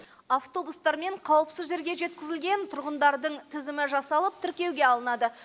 автобустармен қауіпсіз жерге жеткізілген тұрғындардың тізімі жасалып тіркеуге алынады